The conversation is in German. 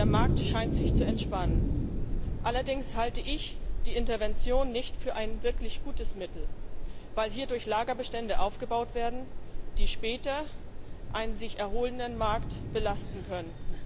Der Markt scheint sich zu entspannen. Allerdings halte ich die Intervention nicht für ein wirklich gutes Mittel, weil hierdurch Lagerbestände aufgebaut werden, die später einen sich erholenden Markt belasten könnten.